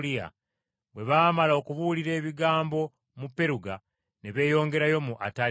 bwe baamala okubuulira ebigambo mu Peruga, ne beeyongerayo mu Ataliya.